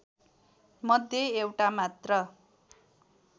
मध्ये एउटा मात्र